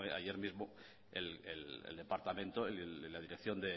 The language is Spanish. ayer mismo el departamento la dirección